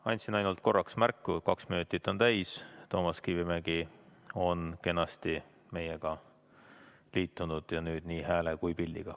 Andsin ainult korraks märku, kaks minutit on täis, Toomas Kivimägi on kenasti meiega liitunud nüüd nii hääle kui ka pildiga.